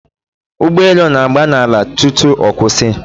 Ụgbọelu na-agba n'ala tutu ọ kwụsị